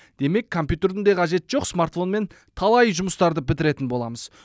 демек компьютердің де қажеті жоқ смартфонмен талай жұмыстарды бітіретін боламыз